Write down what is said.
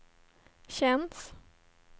känns